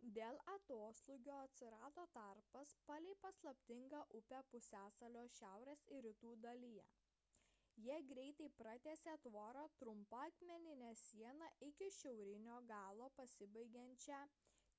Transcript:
kai dėl atoslūgio atsirado tarpas palei paslaptingą upę pusiasalio šiaurės ir rytų dalyje jie greitai pratęsė tvorą trumpa akmenine siena iki šiaurinio galo pasibaigiančią